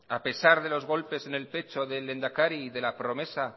a pesar de los golpes en el pecho del lehendakari y de la promesa